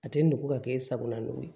A tɛ nugu ka kɛ e sagona ye